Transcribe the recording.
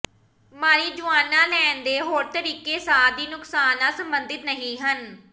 marijuana ਲੈਣ ਦੇ ਹੋਰ ਤਰੀਕੇ ਸਾਹ ਦੀ ਨੁਕਸਾਨ ਨਾਲ ਸਬੰਧਿਤ ਨਹੀਂ ਹਨ